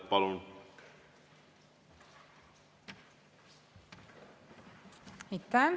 Palun!